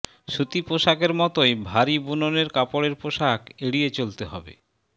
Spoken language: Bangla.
সুতি পোশাকের মতোই ভারি বুননের কাপড়ের পোশাক এড়িয়ে চলতে হবে